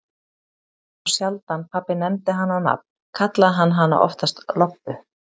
En þá sjaldan pabbi nefndi hana á nafn, kallaði hann hana oftast Lobbu.